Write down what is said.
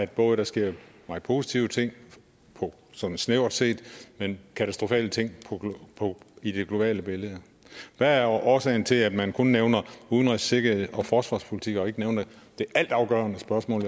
både sker meget positive ting sådan snævert set men katastrofale ting i det globale billede hvad er årsagen til at man kun nævner udenrigs sikkerheds og forsvarspolitik og ikke nævner det altafgørende spørgsmål